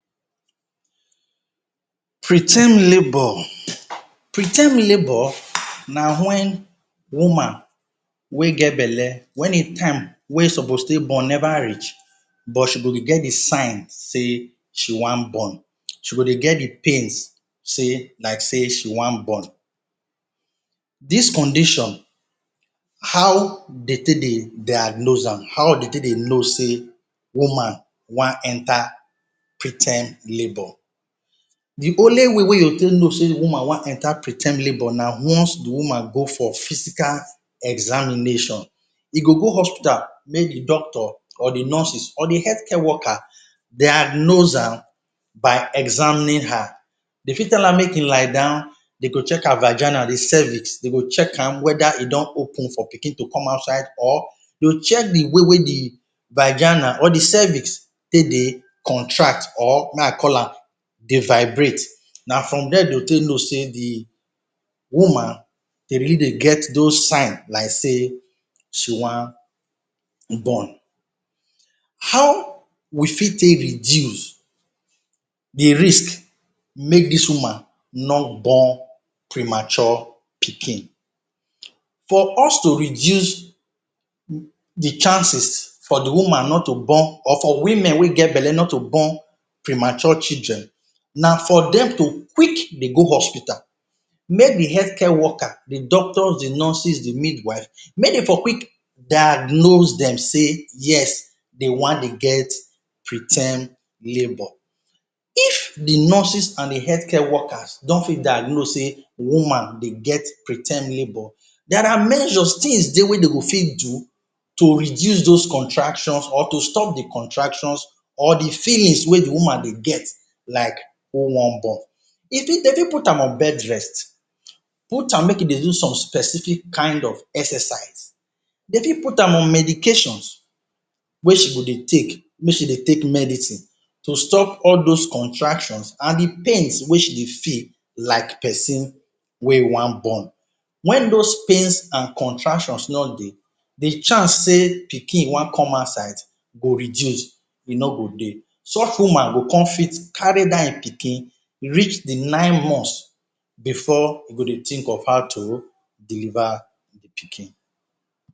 Preterm labour. Preterm labour, na wen woman wey get belle wen im time wey e suppose take born never reach but she go dey get the signs say she wan born. She go dey get de pains say like sey she wan born. Dis condition, how dey take dey diagnose am?, how dey take dey know say woman wan enter preterm labour? De only way wey you go take know say woman wan enter preterm labour na once the woman go for physical examination. E go go hospital make de doctor or the nurses or de healthcare worker diagnose am by examining her. Dey fit tell her make im lie down, dey go check her vagina, de cervix. Dey go check am whether e don open for pikin to come outside or you check de way wey de vagina or the cervix take dey contract or make I call am, dey vibrate. Na from there dey go take know say de woman dey really dey get those sign like sey she wan born. How we fit take reduce de risk make dis woman no born premature pikin? For us to reduce? de chances for de woman not to born or for women wey get belle not to born prematured children, na for dem to quick dey go hospital. Make de healthcare worker, de doctor, de nurses, de midwife, make dey for quick diagnose dem say, yes, dey wan dey get preterm labour. If de nurses and de healthcare worker no fit diagnose sey woman dey get preterm labour, there are measures, things dey wey dem go fit do to reduce those contractions or to stop de contractions or de feelings wey de woman dey get like who wan born.? Dey fit put am on bedrest. Put am make e dey do some specific kind of exercise. Dey fit put am on medications wey she go dey take, make she dey take medicine to stop all those contractions and de pains wey she dey feel like person wey wan born. Wen those pains and contractions no dey, de chance say pikin wan come outside go reduce, e no go dey. Such woman go come fit carry dat im pikin reach de nine months before e go dey think of how to deliver de pikin.